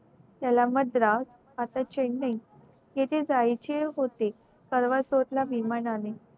त्याला मद्राव आता चेन्नई येते जायचे होते परवा विमानाने